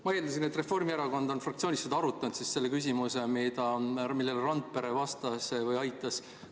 Ma eeldasin, et Reformierakond on fraktsioonis arutanud seda küsimust, millele Randpere vastas või aitas vastata.